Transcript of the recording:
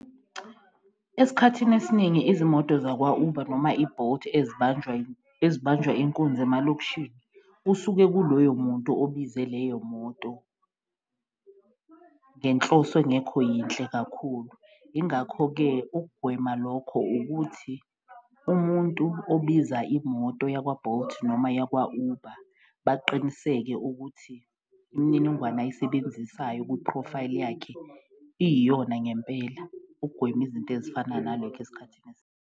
Esikhathini esiningi izimoto zakwa-Uber noma i-Bolt ezibanjwa inkunzi emalokishini, usuke kuloyo muntu obize leyo moto ngenhloso engekho yinhle kakhulu. Ingakho-ke ukugwema lokho ukuthi umuntu obiza imoto yakwa-Bolt noma yakwa-Uber baqiniseke ukuthi imininingwane ayisebenzisayo kwiphrofayili yakhe iyiyona ngempela ukugwema izinto ezifana nale esikhathini .